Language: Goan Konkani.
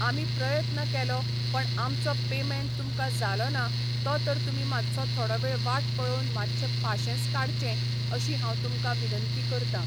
आमी प्रयत्न केलो पण आमचो पेमेंट तुमकां जालो ना तो तर तुमी मातसो थोडो वेळ वाट पळोवन मातशें पाशेंस काडचें अशी हांव तुमका विनंती करतां